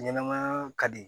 Ɲɛnɛmaya ka di